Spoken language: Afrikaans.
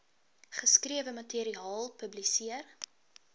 geskrewe materiaal publiseer